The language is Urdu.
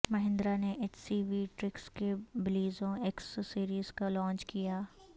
مہندرا نے ایچ سی وی ٹرکس کی بلیزو ایکس سیریز لانچ کیا